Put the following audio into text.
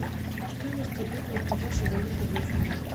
стоимость обмена и продажи валюты в альфа банке